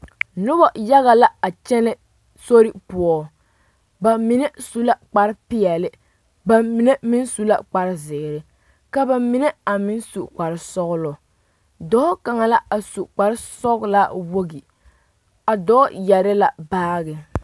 Noba yaga la a kyɛnɛ sori poɔ ba mine su la kparepeɛlle ba mine meŋ su la kparezeere ka ba mine a meŋ su kparesɔglɔ dɔɔ kaŋa la a su kparesɔglaa wogi a dɔɔ yɛre la baage.